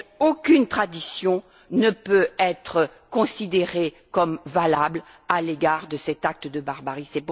Aucune tradition ne peut être considérée comme valable à l'égard de cet acte de barbarie.